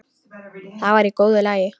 Það var í góðu lagi.